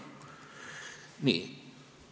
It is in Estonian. Nii.